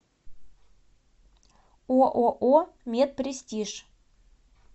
ооо мед престиж